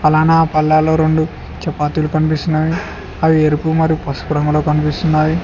ప్రాణ పల్లాలో రెండు చపాతీలు కనిపిస్తున్నావి అవి ఎరుపు మరియు పసుపు రంగులో కనిపిస్తున్నావి.